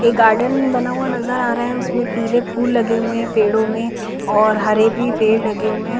एक गार्डन बना हुआ नज़र आ रहा है उसमे पीले फूल लगे हुए है पेड़ों में और हरे भी पेड़ लगे हुए है ।